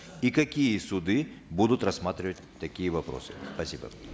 и какие суды будут рассматривать такие вопросы спасибо